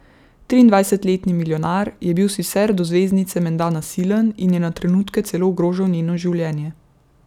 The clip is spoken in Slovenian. Triindvajsetletni milijonar je bil sicer do zvezdnice menda nasilen in je na trenutke celo ogrožal njeno življenje.